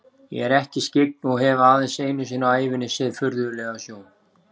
Ég er ekki skyggn og hef aðeins einu sinni á ævinni séð furðulega sjón.